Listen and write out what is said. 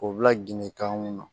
K'o bila ginde kan